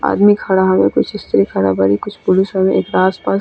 आदमी खड़ा हवे कुछ स्त्री खड़ा बाड़ी कुछ पुरुष हवे एकरा आस-पास।